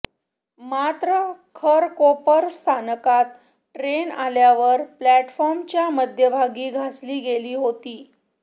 मात्र खरकोपर स्थानकात ट्रेन आल्यावर प्लॅटफॉर्मच्या मध्यभागी घासली गेली होती